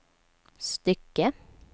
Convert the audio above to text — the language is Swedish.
stycke